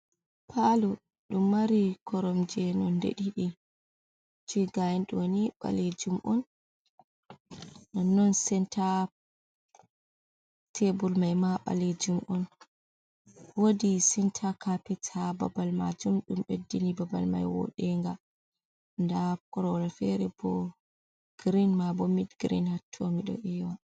Palo ɗum mari koromje nonde ɗiɗi. Jei ga'en ɗo ni balejum on. Nonnon senta tebul mai ma balejum on. Wodi senta kapet ha babal majum. Ɗum beddini babal mai woɗenga. Nda korowal fere bo grin, ma bo mid grin hatto miɗo ewa.